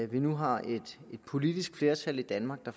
vi nu har et politisk flertal i danmark der